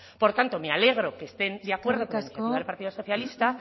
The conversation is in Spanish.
por lo tanto me alegro que estén de acuerdo eskerrik asko con lo que propone el partido socialista